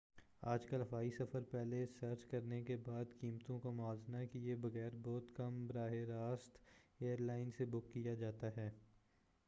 آج کل ہوائی سفر پہلے سرچ کرنے کے بعد قیمتوں کا موازنہ کیے بغیر بہت کم براہ راست ایر لائن سے بک کیا جاتا ہے